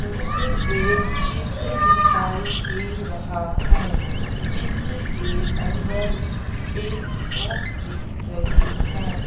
मुझे एक चित्र दिखाई दे रहा है चित्र के अंदर एक शॉप दिख रही है।